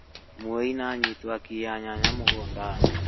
Mũici nĩ anyitwo akĩiya nyanya mũgũnda-inĩ